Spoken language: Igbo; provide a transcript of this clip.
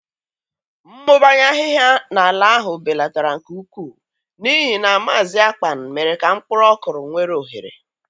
Mmụbanye ahịhịa n'ala ahụ belatara nke ukwuu n'ihi na Maazị Akpan mere ka mkpụrụ ọkụrụ nwere ohere.